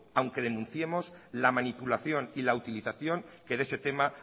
aunque denunciemos la manipulación y la utilización que de ese tema